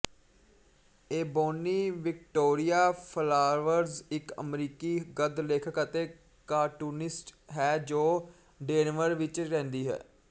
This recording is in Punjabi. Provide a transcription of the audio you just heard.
ਏਬੋਨੀ ਵਿਕਟੋਰੀਆ ਫਲਾਵਰਜ ਇੱਕ ਅਮਰੀਕੀ ਗੱਦ ਲੇਖਕ ਅਤੇ ਕਾਰਟੂਨਿਸਟ ਹੈ ਜੋ ਡੇਨਵਰ ਵਿੱਚ ਰਹਿੰਦੀ ਹੈ